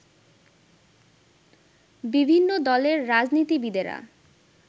বিভিন্ন দলের রাজনীতিবিদেরা